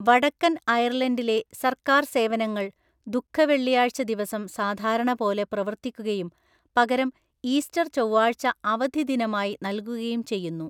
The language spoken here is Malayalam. വടക്കൻ അയർലൻഡിലെ സർക്കാർ സേവനങ്ങൾ ദുഃഖവെള്ളിയാഴ്ചദിവസം സാധാരണപോലെ പ്രവർത്തിക്കുകയും, പകരം ഈസ്റ്റർചൊവ്വാഴ്ച അവധിദിനമായി നൽകുകയും ചെയ്യുന്നു.